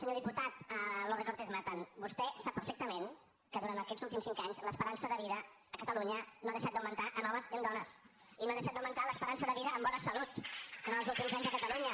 senyor diputat los recortes matan vostè sap perfectament que durant aquests últims cinc anys l’esperança de vida a catalunya no ha deixat d’augmentar en homes i en dones i no ha deixat d’augmentar l’esperança de vida amb bona salut en els últims anys a catalunya